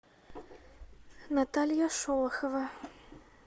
наталья шолохова